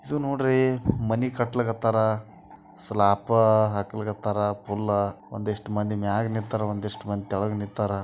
ಇದು ನೋಡ್ರಿ ಮನೆ ಕಟ್ಟಲಾಕತ್ತಾರ ಸ್ಲಾಪ ಹಾಕ್ಲಿಕತ್ತಾರ ಪುಲ್ಲ ಹಮ್ ಒಂದಿಷ್ಟ್ ಮಂದಿ ಮೈಗ್ ನಿಂತರ್ ಒಂದಿಷ್ಟ್ ಮಂದಿ ಕೆಳಗ್ ನಿಂತಾರ್.